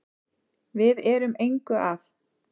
Við erum engu að